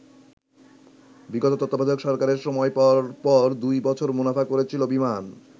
বিগত তত্ত্বাবধায়ক সরকারের সময় পরপর দুই বছর মুনাফা করেছিল বিমান।